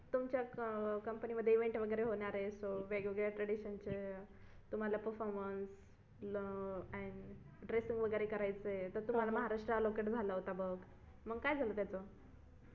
तुमच्या अं company मध्ये event वगैरे होणार आहे असं वेगवेगळ्या traditionचं तुम्हाला performance and dressing वगैरे करायचं आहे तर तुम्हाला महाराष्ट्र allocate झाला होत बघ मग काय झालं त्याचं?